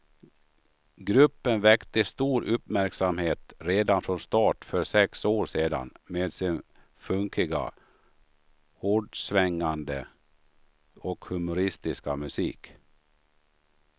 Gruppen väckte stor uppmärksamhet redan från starten för sex år sedan med sin funkiga, hårdsvängande och humoristiska musik.